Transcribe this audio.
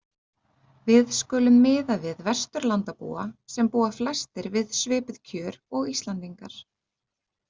Við skulum miða við Vesturlandabúa, sem búa flestir við svipuð kjör og Íslendingar.